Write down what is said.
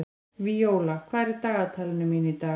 Víóla, hvað er í dagatalinu mínu í dag?